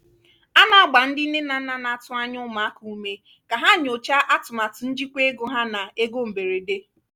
a na-agba ndị nne na nna na-atụ anya ụmụaka ume ka ha nyochaa atụmatụ njikwa ego ha na ego mberede.